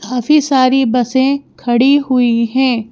काफी सारी बसें खड़ी हुई हैं।